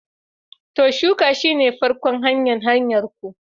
To! shuka shi ta ƙofan hanyar hanyarku.